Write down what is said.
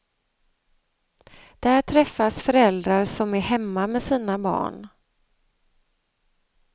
Där träffas föräldrar som är hemma med sina barn.